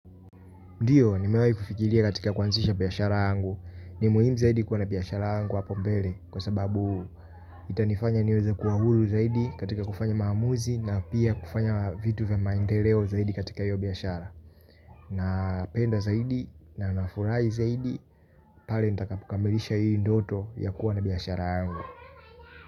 Ndiyo nimewai kufikilia katika kuanzisha biyashara angu. Ni muhim zaidi kua na biyashara angu hapo mbele kwa sababu itanifanya niweza kuwa hulu zaidi katika kufanya maamuzi na pia kufanya vitu vya maendeleo zaidi katika yu biyashara. Na penda zaidi na nafurai zaidi pali nitakapokamilisha yu ndoto ya kuwa na biyashara angu.